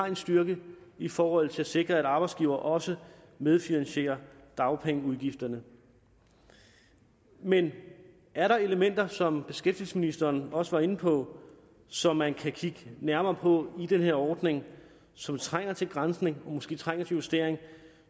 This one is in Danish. en styrke i forhold til at sikre at arbejdsgivere også medfinansierer dagpengeudgifterne men er der elementer som beskæftigelsesministeren også var inde på som man kan kigge nærmere på i den her ordning og som trænger til granskning og måske trænger til justering